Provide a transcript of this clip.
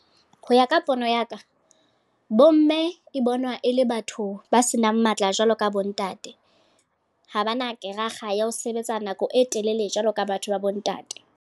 Ho ya ka pono ya ka, bomme e bonwa e le batho ba senang matla jwalo ka bo ntate. Ha ba na kerakga ya ho sebetsa nako e telele jwalo ka batho ba bo ntate.